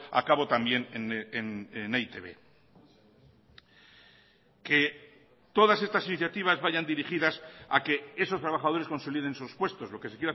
a cabo también en e i te be que todas estas iniciativas vayan dirigidas a que esos trabajadores consoliden sus puestos lo que se